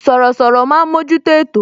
Sọ̀rọ̀sọ̀rọ̀ máa ń mojuto ètò